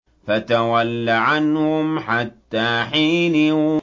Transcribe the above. فَتَوَلَّ عَنْهُمْ حَتَّىٰ حِينٍ